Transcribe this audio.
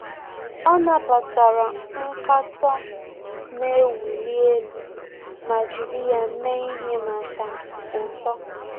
Ọ́ nàbàtàrà nkatọ nà-èwúlí élú ma jìrì ya mee ihe màkà uto.